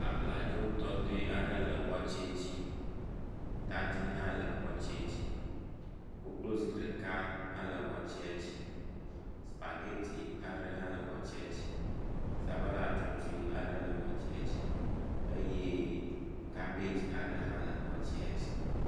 Abladzotɔtɔe aɖe le watsɛ dzi. Tadi hã le watsɛ dzi. Koklozi ɖeka hã le wateɛa dzi, supageti aɖe hã le watsɛa dzi, sabala tsotoe aɖe le watsɛa dzi eye kabagi hã le watsɛa dzi.